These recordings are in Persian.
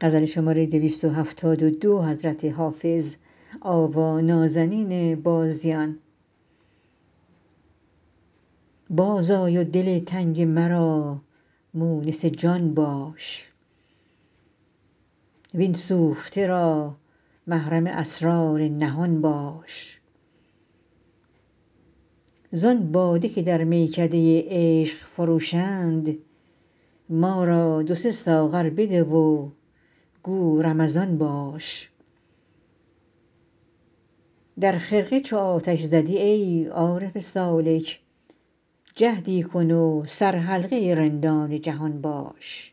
باز آی و دل تنگ مرا مونس جان باش وین سوخته را محرم اسرار نهان باش زان باده که در میکده عشق فروشند ما را دو سه ساغر بده و گو رمضان باش در خرقه چو آتش زدی ای عارف سالک جهدی کن و سرحلقه رندان جهان باش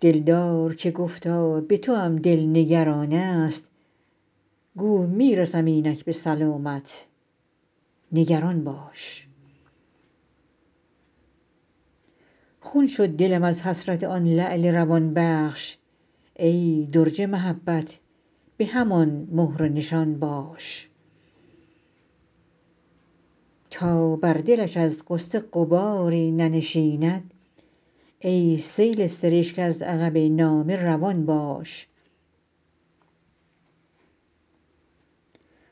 دلدار که گفتا به توام دل نگران است گو می رسم اینک به سلامت نگران باش خون شد دلم از حسرت آن لعل روان بخش ای درج محبت به همان مهر و نشان باش تا بر دلش از غصه غباری ننشیند ای سیل سرشک از عقب نامه روان باش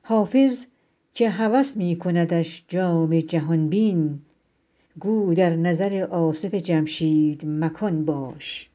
حافظ که هوس می کندش جام جهان بین گو در نظر آصف جمشید مکان باش